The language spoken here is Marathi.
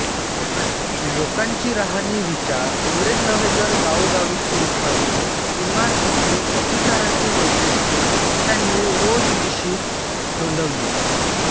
लोकांची राहणी विचार एवढेच नव्हे तर गावोगावीची उत्पादने इमारतींची शब्दोच्चारांची वैशिष्ट्ये त्यांनी रोजनिशीत नोंदवली